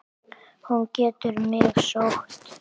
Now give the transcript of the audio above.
Hún getur mig sótt.